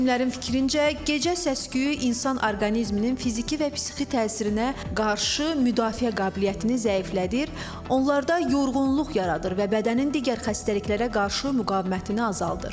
Həkimlərin fikrincə, gecə səs-küyü insan orqanizminin fiziki və psixi təsirinə qarşı müdafiə qabiliyyətini zəiflədir, onlarda yorğunluq yaradır və bədənin digər xəstəliklərə qarşı müqavimətini azaldır.